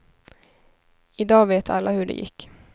I dag vet alla hur det gick.